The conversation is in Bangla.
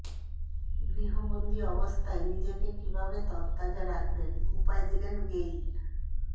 গৃহবন্দি অবস্থায় নিজেকে কীভাবে তড়তাজা রাখবেন উপায় দিলেন গেইল